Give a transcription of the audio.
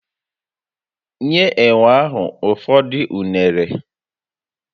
Nye enwe ahụ ụfọdụ unere